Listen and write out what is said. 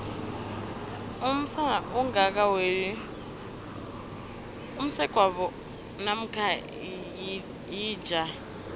umsana ongaka weli msegwabo mamkha yilija